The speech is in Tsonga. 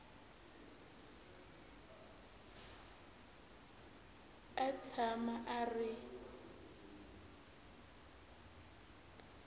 a a tshama a ri